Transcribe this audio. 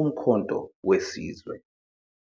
Umkhonto Wesizwe.